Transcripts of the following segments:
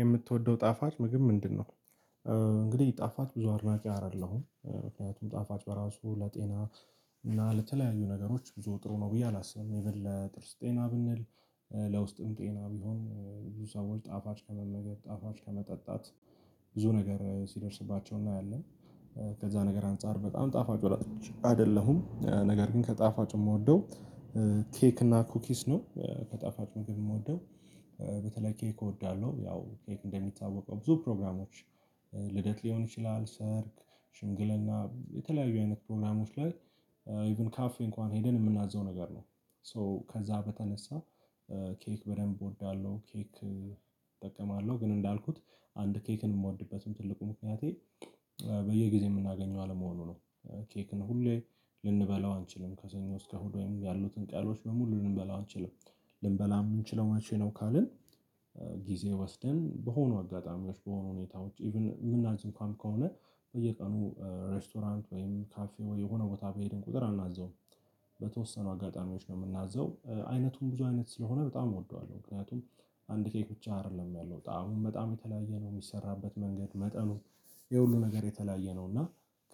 የምትወደው ጣፋጭ ምግብ ምንድነው? እንግዲህ ጣፋጭ ብዙ አድናቂ አይደለሁም። ምክንያቱም ጣፋጭ በራሱ ለጤና እና ለተለያዩ ነገሮች ብዙ ጥሩ ነው ብዬ አላስብም። ኢቭን ለጥርስ ጤና ብንል ለውስጥም ጤና ቢሆን ብዙ ሰዎች ጣፋጭ ከመመገብ ጣፋጭ ከመጠጣት ብዙ ነገር ሲደርስባቸው እናያለን። ከዛ ነገር አንፃር በጣም ጣፋጭ ወዳጅ አይደለሁም። ነገር ግን ከጣፋጭ የምወደው ኬክ እና ኩኪስ ነው። ከጠፋጭ ምግብ የምወደው በተለይ ኬክ እወዳለሁ። ያው ኬክ እንደሚታወቀው ብዙ ፕሮግራሞች ልደት ሊሆን ይችላል ሰርግ፣ ሽንግልና የተለያዩ አይነት ፕሮግራሞች ላይ ኢቭን ካፌ እንኳን ሄደን የምናዘው ነገር ነው። ሶ ከዛ በተነሳ ኬክ በደንብ እወዳለሁ። ኬክ እጠቀማለሁ ግን እንዳልኩት አንድ ኬክን የምወድበትም ትልቁ ምክንያቴ በየጊዜው የምናገኘው አለመሆኑ ነው። ኬክን ሁሌ ልንበላው አንችልም። ከሰኞ እስከ እሁድ ወይም ያሉትን ቀኖች በሙሉ ልንበላው አንችልም። ልንበላው የምንችለው መቼ ነው ካልን ጊዜ ወስደን በሆኑ አጋጣሚዎች በሆኑ ሁኔታዎች ኢቭን የምናዝ እንኳን ከሆነ በየቀኑ ሬስቶራንት ወይም ካፌ ወይ የሆነ ቦታ በሄድን ቁጥር አናዝዘውም። በተወሰኑ አጋጣሚዎች ነው የምናዘው። አይነቱም ብዙ አይነት ስለሆነ በጣም እወደዋለሁ። ምክንያቱም አንድ ኬክ ብቻ አይደለም ያለው። ጣእሙም በጣም የተለያየ ነው የሚሰራበት መንገድ መጠኑ ይሄ ሁሉ ነገር የተለያየ ነው እና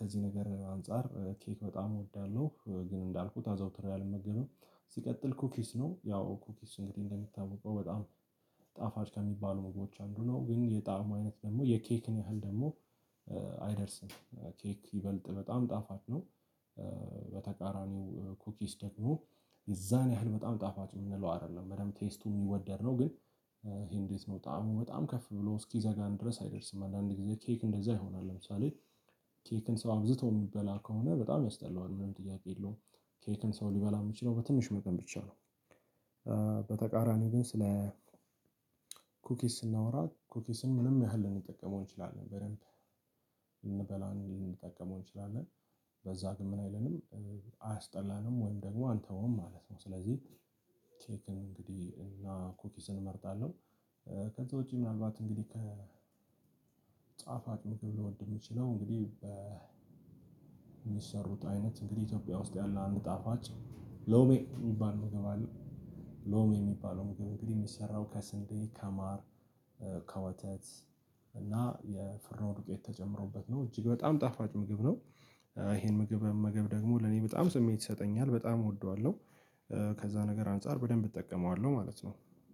ከዚህ ነገር አንፃር ኬክ በጣም እወዳለሁ። ግን እንዳልኩት አዘወትሬ አልመገብም። ሲቀጥል ኩኪስ ነው። ያው ኩኪስ እንግዲህ እንደሚታወቀው በጣም ጣፋጭ ከሚባሉ ምግቦች አንዱ ነው። ግን የጣዕሙ አይነት ደግሞ የኬክን ያህል ደግሞ አይደርስም። ኬክ ይበልጥ በጣም ጣፋጭ ነው። በተቃራኒው ኩኪስ ደግሞ የዛን ያህል በጣም ጣፋጭ የምንለው አይደለም። በደንብ ቴስቱ የሚወደድ ነው። ግን ይሄ እንዴት ነው ጣዕሙ በጣም ከፍ ብሎ እስኪዘጋን ድረስ አይደርስም። አንዳንድ ጊዜ ኬክ እንደዛ ይሆናል። ለምሳሌ ኬክን ሰው አብዝቶ የሚበላ ከሆነ በጣም ያስጠላዋል። ምንም ጥያቄ የለውም። ኬክን ሰው ሊበላ የምችለው በትንሽ መጠን ብቻ ነው። በተቃራኒው ግን ስለ ኩኪስ ስናወራ ኩኪስን ምንም ያህል ልንጠቀመው እንችላለን በደንብ ልንበላው እንዲ ልንጠቀመው እንችላለን። በዛ ግን ምን አይለንም አያስጠላንም ወይም ደግሞ አንተወውም ማለት ነው። ስለዚህ ኬክን እንግዲህ እና ኮኪስን እመርጣለሁ። ከዛ ውጪ ምናልባት እንግዲህ ከጣፋጭ ምግብ ልወድ የምችለው እንግዲህ በሚሰሩት አይነት እንግዲህ ኢትዮጵያ ውስጥ ያለ አንጣፋጭ ሎሜ የሚባል ምግብ አለ። ሎሜ የሚባለው ምግብ እንግዲህ የሚሰራው ከስንዴ፣ ከማር፣ ከወተት እና የፍርኖ ዱቄት ተጨምሮበት ነው። እጅግ በጣም ጣፋጭ ምግብ ነው። ይሄን ምግብ መመገብ ደግሞ ለኔ በጣም ስሜት ይሰጠኛል። በጣም እወደዋለሁ። ከዛ ነገር አንፃር በደንብ እጠቀመዋለሁ ማለት ነው።